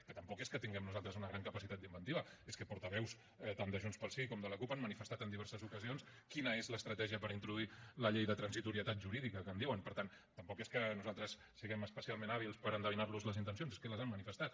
que tampoc és que tinguem nosaltres una gran capacitat d’inventiva és que portaveus tant de junts pel sí com de la cup han manifestat en diverses ocasions quina és l’estratègia per introduir la llei de transitorietat jurídica que en diuen per tant tampoc és que nosaltres siguem especialment hàbils per endevinar los les intencions és que les han manifestat